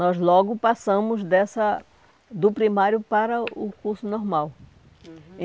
Nós logo passamos dessa... do primário para o curso Normal. Uhum.